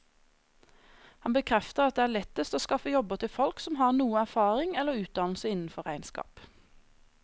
Han bekrefter at det er lettest å skaffe jobber til folk som har noe erfaring eller utdannelse innenfor regnskap.